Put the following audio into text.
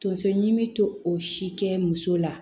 Tonso ɲimi to o si kɛ muso la